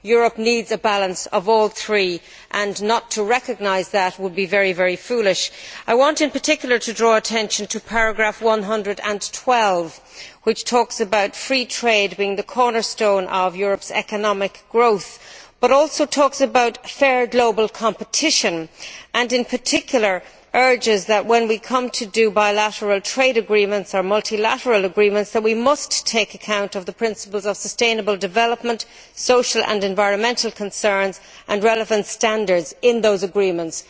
Europe needs a balance of all three and not to recognise that would be very foolish. I want, in particular, to draw attention to paragraph 112, which talks about free trade being the cornerstone of Europe's economic growth, but also talks about fair global competition and, in particular, urges that, when we come to do bilateral trade agreements or multilateral agreements, we must take account of the principles of sustainable development, social and environmental concerns and relevant standards in those agreements.